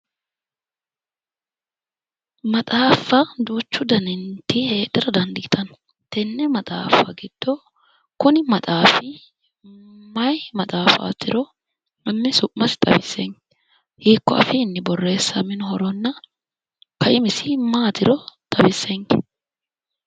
maxaaffa duuchu daniti heedhara dandiitanno tenne maxaaffa giddo kuni maxaafi mayi maxaafaatiro hanni su'masi xawissenke hiikko afiinni boreessaminohoronna kaimisi maatiro xawissenke.